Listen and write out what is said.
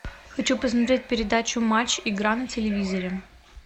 хочу посмотреть передачу матч игра на телевизоре